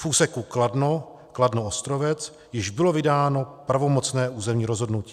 V úseku Kladno - Kladno-Ostrovec již bylo vydáno pravomocné územní rozhodnutí.